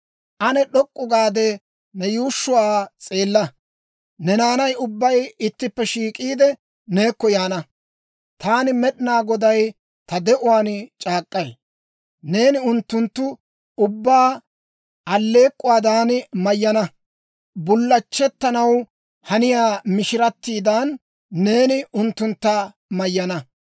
Ane d'ok'k'u gaade, ne yuushshuwaa s'eella; ne naanay ubbay ittippe shiik'iide, neekko yaana. Taani Med'inaa Goday ta de'uwaan c'aak'k'ay: neeni unttunttu ubbaa alleek'k'uwaadan mayyana; bullachchettanaw haniyaa mishiratiidan, neeni unttuntta mayyaanna.